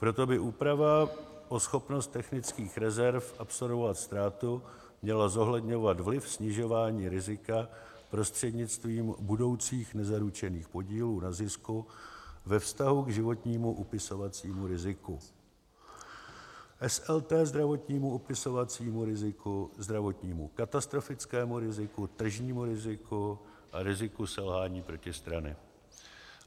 Proto by úprava o schopnost technických rezerv absorbovat ztrátu měla zohledňovat vliv snižování rizika prostřednictvím budoucích nezaručených podílů na zisku ve vztahu k životnímu upisovacímu riziku, SLT zdravotnímu upisovacímu riziku, zdravotnímu katastrofickému riziku, tržnímu riziku a riziku selhání protistrany.